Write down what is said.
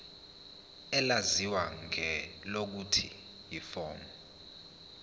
elaziwa ngelokuthi yiform